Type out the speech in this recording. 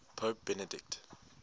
pope benedict